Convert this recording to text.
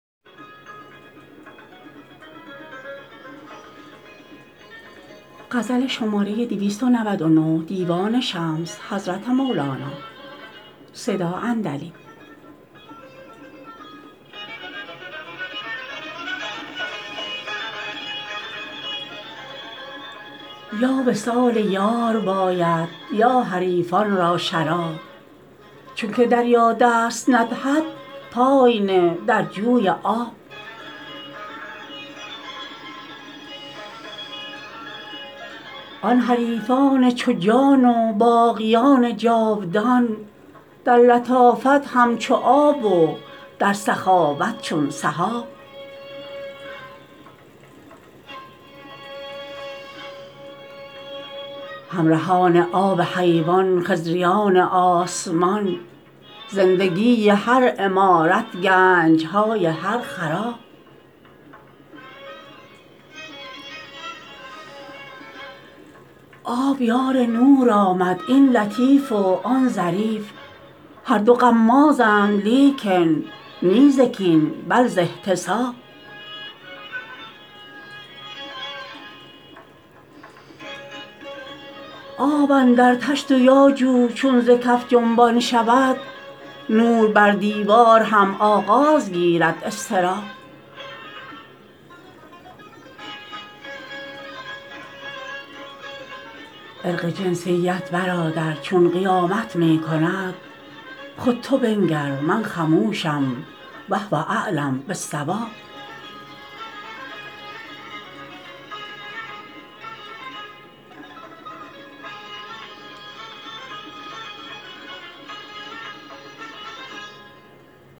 یا وصال یار باید یا حریفان را شراب چونک دریا دست ندهد پای نه در جوی آب آن حریفان چو جان و باقیان جاودان در لطافت همچو آب و در سخاوت چون سحاب همرهان آب حیوان خضریان آسمان زندگی هر عمارت گنج های هر خراب آب یار نور آمد این لطیف و آن ظریف هر دو غمازند لیکن نی ز کین بل ز احتساب آب اندر طشت و یا جو چون ز کف جنبان شود نور بر دیوار هم آغاز گیرد اضطراب عرق جنسیت برادر جون قیامت می کند خود تو بنگر من خموشم وهو اعلم بالصواب